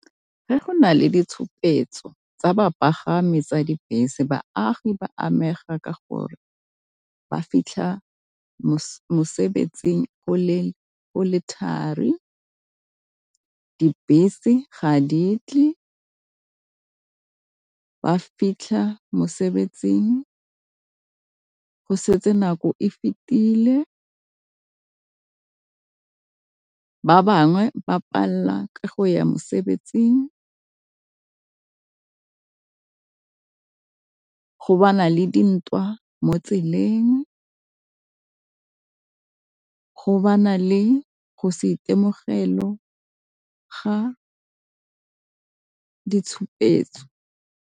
Ge go na le ditshupetso tsa bapagami tsa dibese baagi ba amega ka gore ba fitlha mosebetsing o le thari. Dibese ga di tle, ba fitlha mosebetsing go setse nako e fetile. Ba bangwe ba palelwa ke go ya mosebetsing go bana le dintwa mo tseleng go bana le go se maitemogelo ga ditshupetso.